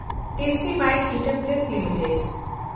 Tasty Bite Eatables limited